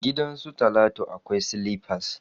Gidan su talatu akwai silifas.